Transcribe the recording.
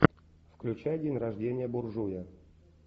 включай день рождения буржуя